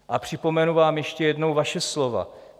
A připomenu vám ještě jednou vaše slova.